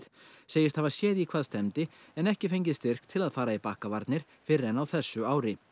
segist hafa séð í hvað stefndi en ekki fengið styrk til að fara í fyrr en á þessu ári